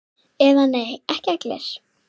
Eða nei, ekki allir!